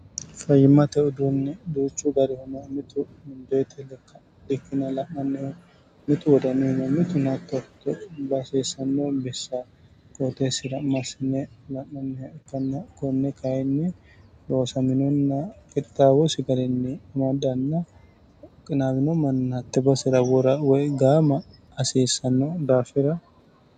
fayyimmate uduunni duuchu garihuno mitu mundeete like bikkine la'nanniho mitu wodanuniho mitu hattoo hasiissanno bissa qooteessira massine la'nannih ikknn konne kainni boosaminonna kittaawosi gariinni amadanna qinaawino manni hatte basera wora woy gaama hasiissanno daafira